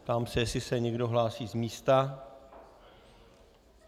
Ptám se, jestli se někdo hlásí z místa.